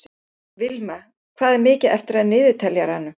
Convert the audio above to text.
Vilma, hvað er mikið eftir af niðurteljaranum?